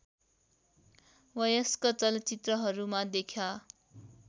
वयस्क चलचित्रहरूमा देखा